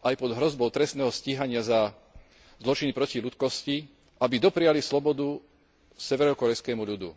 aj pod hrozbou trestného stíhania za zločiny proti ľudskosti, aby dopriali slobodu severokórejskemu ľudu.